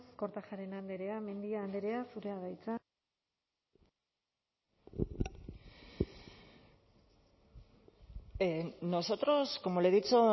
kortajarena andrea mendia andrea zurea da hitza nosotros como le he dicho